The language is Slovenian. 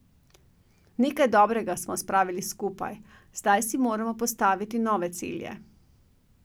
Nekaj dobrega smo spravili skupaj, zdaj si moramo postaviti nove cilje.